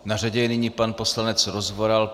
Na řadě je nyní pan poslanec Rozvoral.